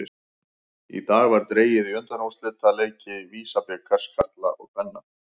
Í dag var dregið í undanúrslitaleiki VISA-bikars karla og kvenna.